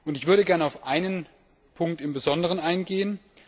Ich würde gern auf einen Punkt im Besonderen eingehen.